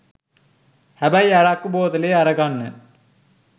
හැබැයි අරක්කු බෝතලේ අරගන්න